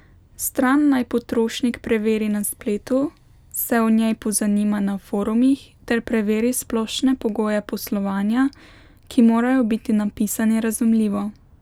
Stran naj potrošnik preveri na spletu, se o njej pozanima na forumih ter preveri splošne pogoje poslovanja, ki morajo biti napisani razumljivo.